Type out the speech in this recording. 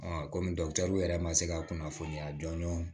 kɔmi yɛrɛ ma se ka kunnafoniya dɔn